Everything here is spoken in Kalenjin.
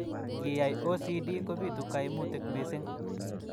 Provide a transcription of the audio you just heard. Ngiyai OCD kobitu kaimutik missing.